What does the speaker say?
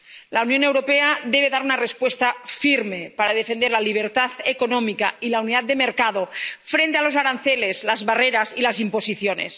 La Unión Europea debe dar una respuesta firme, para defender la libertad económica y la unidad de mercado frente a los aranceles, las barreras y las imposiciones.